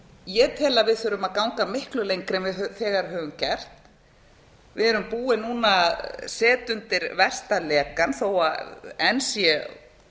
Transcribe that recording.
ég tel að við þurfum að ganga miklu lengra en við þegar höfum gert við erum búin núna að setja undir versta lekann þó að enn sé